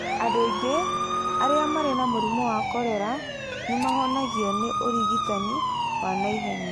Andũ aingĩ arĩa marĩ na mũrimũ wa korera nĩ mahonagio nĩ ũrigitani wa na ihenya.